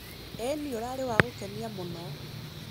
ĩni ũrarĩ wa gũkenia mũno.